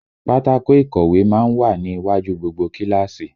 Pátákó ìkọ̀wé má ń wà ní iwájú gbogbo kíláàsì